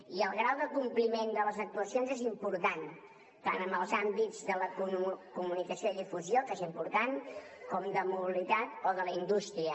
i el grau de compliment de les actuacions és important tant en els àmbits de la comunicació i difusió que són importants com en els de la mobilitat o de la indústria